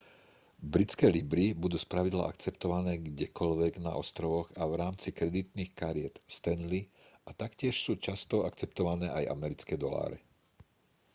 britské libry budú spravidla akceptované kdekoľvek na ostrovoch a v rámci kreditných kariet stanley a taktiež sú často akceptované aj americké doláre